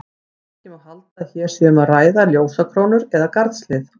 Ekki má halda að hér sé um að ræða ljósakrónur eða garðshlið.